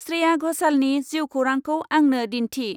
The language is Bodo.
स्रेया घशालनि जिउखौरांखौ आंनो दिन्थि।